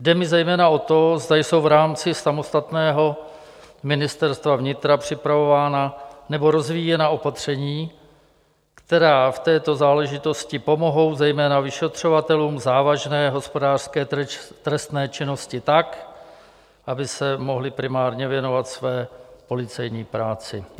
Jde mi zejména o to, zda jsou v rámci samostatného Ministerstva vnitra připravována nebo rozvíjena opatření, která v této záležitosti pomohou zejména vyšetřovatelům závažné hospodářské trestné činnosti tak, aby se mohli primárně věnovat své policejní práci.